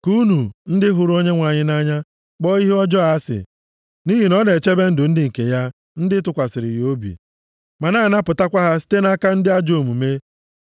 Ka unu, ndị hụrụ Onyenwe anyị nʼanya, kpọọ ihe ọjọọ asị, nʼihi na ọ na-echebe ndụ ndị nke ya, ndị tụkwasịrị ya obi ma na-anapụtakwa ha site nʼaka ndị ajọ omume.